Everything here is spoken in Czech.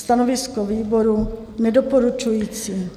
Stanovisko výboru: Nedoporučující.